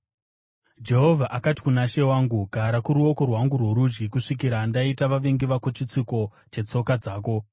Jehovha akati kuna She wangu, “Gara kuruoko rwangu rworudyi, kusvikira ndaita vavengi vako chitsiko chetsoka dzako.”